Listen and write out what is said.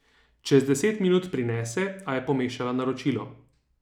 Čez deset minut prinese, a je pomešala naročilo.